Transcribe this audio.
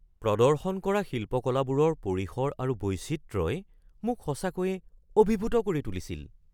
প্ৰদৰ্শন কৰা শিল্পকলাবোৰৰ পৰিসৰ আৰু বৈচিত্ৰ্যই মোক সঁচাকৈয়ে অভিভূত কৰি তুলিছিল।